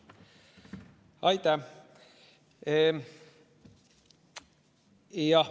Aitäh!